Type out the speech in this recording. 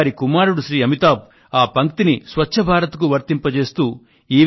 అయితే వారి కుమారుడు శ్రీ అమితాబ్ ఆ పంక్తిని స్వచ్ఛ భారత్ కు వర్తింపజేస్తూ